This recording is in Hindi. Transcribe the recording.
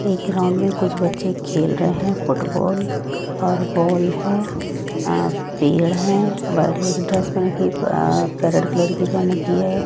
एक ग्राउंड में कुछ बच्चे खेल रहे हैं फुटबॉल और बॉल है अं पेड़ हैं वाइट कलर की ड्रेस पहन के अं रेड कलर की पहन रखी है।